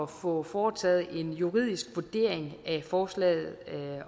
få foretaget en juridisk vurdering af forslaget